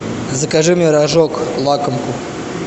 закажи мне рожок лакомку